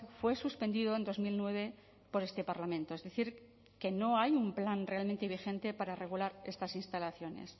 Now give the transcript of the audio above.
fue suspendido en dos mil nueve por este parlamento es decir que no hay un plan realmente vigente para regular estas instalaciones